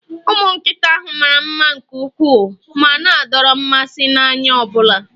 Ụmụ nkịta ahụ mara mma nke ukwuu ma na-adọrọ mmasị n'anya ọ bụla